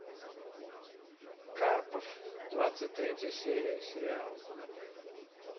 карпов двадцать третья серия сериал